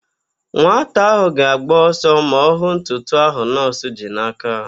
Nwata ahụ ga-agba ọsọ ma ọ hụ ntụtụ ahụ nọọsụ ji n'aka.